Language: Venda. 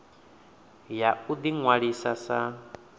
ya u ḓi ṅwalisa sa